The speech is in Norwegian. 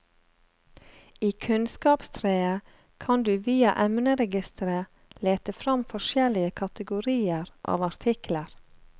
I kunnskapstreet kan du via emneregisteret lete fram forskjellige kategorier av artikler.